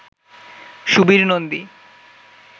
Subir Nandi